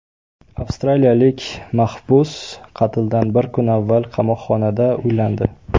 Avstraliyalik mahbus qatldan bir kun avval qamoqxonada uylandi.